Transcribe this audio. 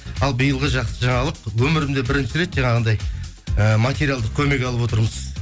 ал биылғы жақсы жаңалық өмірімде бірінші рет жаңағындай ііі материалдық көмек алып отырмыз